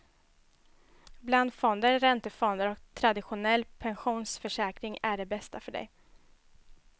Blandfonder, räntefonder och traditionell pensionsförsäkring är det bästa för dig.